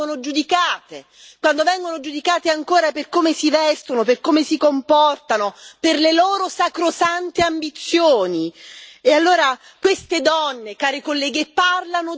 la prima quando vengono abusate e la seconda quando vengono giudicate, quando vengono giudicate ancora per come si vestono, per come si comportano, per le loro sacrosante ambizioni.